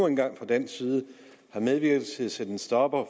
en gang fra dansk side har medvirket til at sætte en stopper